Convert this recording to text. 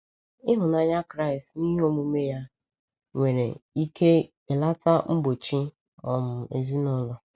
Ịhụnanya Kraịst n’ihe omume ya nwere ike belata mgbochi um ezinụlọ.